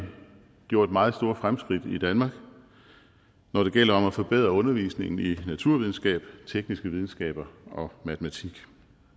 gjort meget store fremskridt i danmark når det gælder om at forbedre undervisningen i naturvidenskab tekniske videnskaber og matematik